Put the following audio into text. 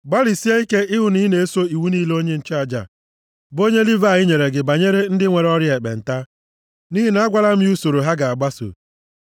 Gbalịsie ike ịhụ na ị na-eso iwu niile onye nchụaja, bụ onye Livayị nyere gị banyere ndị nwere ọrịa ekpenta, nʼihi na agwala m ya usoro ha ga-agbaso.